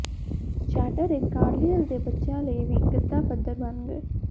chatter ਇਕ ਕਾਰਲਏਲ ਦੇ ਬੱਚਿਆਂ ਲਈ ਵੀ ਗੱਦਾਫਦਰ ਬਣ ਗਏ